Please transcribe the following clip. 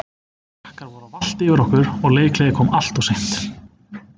Frakkar voru að valta yfir okkur og leikhléið kom alltof seint.